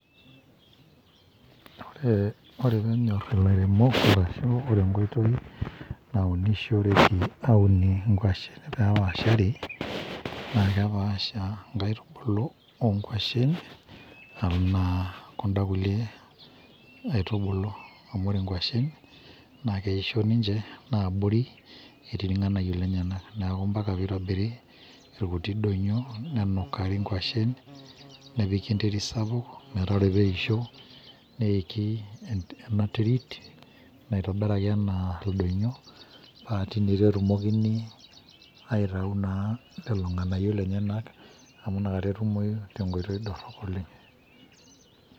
Ore peenyor ilairemok arashu ore enkoitoi naunishoreki aunishore nkwashen pepaashare naa kepaasha nkaitibulu oonkwashen anaa kunda kulie nkaitubulu naa keisho ninje naaabori etii irnganayio lenyenak nitobiri nkuti donyio nenukari nkwashen nepiki enterit sapuk ore peisho nepiki ena terit naitobiraki anaa ildonyio aa tine etumokini aitau naa lolo nganayio lenyenak amu nakata etumoyu tenkoitoi dorop oleng.